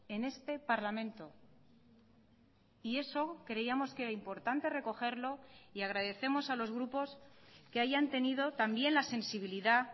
en este parlamento y eso creíamos que era importante recogerlo y agradecemos a los grupos que hayan tenido también la sensibilidad